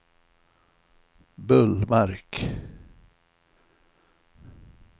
Bullmark